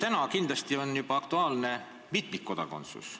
Täna on kindlasti aktuaalne juba mitmikkodakondsus.